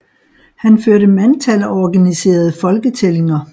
Han førte mandtal og organiserede folketællinger